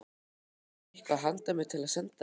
Áttu eitthvað handa mér til að senda þeim?